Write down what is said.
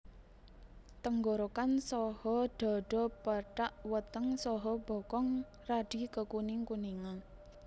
Tenggorokan saha dhadha pethak weteng saha bokong radi kekuning kuningan